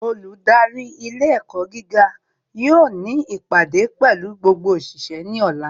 Olùdarí ilé ẹ̀kọ́ gíga yóò ní ìpàdé pẹ̀lú gbogbo òṣìṣẹ́ ní ọ̀la